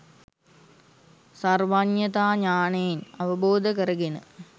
සර්වඥතා ඥානයෙන් අවබෝධ කරගෙන